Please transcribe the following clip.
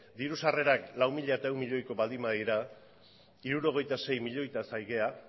diru sarrerak lau mila ehun milioiko baldin badira hirurogeita sei milioitaz ari gara